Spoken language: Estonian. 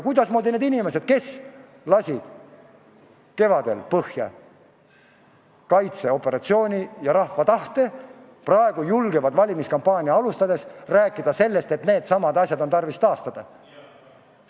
Kuidas need inimesed, kes lasid kevadel põhja kaitseoperatsiooni ja rahva tahte, julgevad praegu valimiskampaaniat alustades rääkida sellest, et needsamad asjad on tarvis taastada?